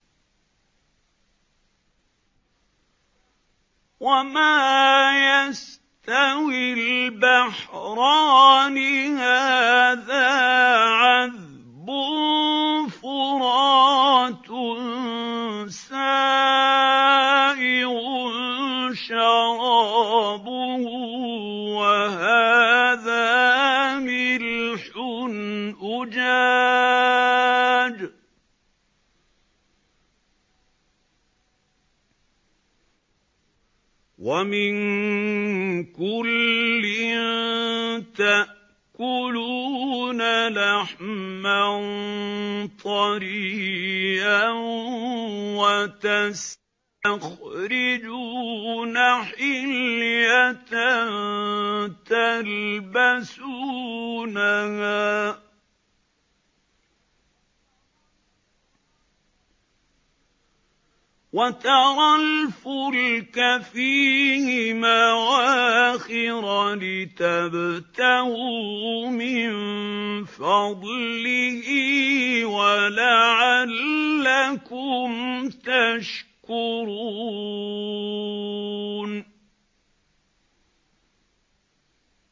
وَمَا يَسْتَوِي الْبَحْرَانِ هَٰذَا عَذْبٌ فُرَاتٌ سَائِغٌ شَرَابُهُ وَهَٰذَا مِلْحٌ أُجَاجٌ ۖ وَمِن كُلٍّ تَأْكُلُونَ لَحْمًا طَرِيًّا وَتَسْتَخْرِجُونَ حِلْيَةً تَلْبَسُونَهَا ۖ وَتَرَى الْفُلْكَ فِيهِ مَوَاخِرَ لِتَبْتَغُوا مِن فَضْلِهِ وَلَعَلَّكُمْ تَشْكُرُونَ